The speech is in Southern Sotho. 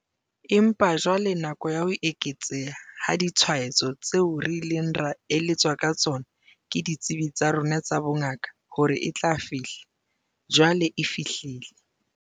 Empa jwale nako ya ho eketseha ha ditshwaetso tseo re ileng ra eletswa ka tsona ke ditsebi tsa rona tsa bongaka hore e tla fihla, jwale e fihlile.